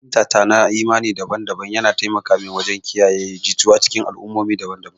Fahimtata na imani daban-daban yana taimaka mini wajen kiyaye jituwa a cikin al'ummomi daban-daban.